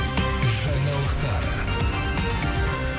жаңалықтар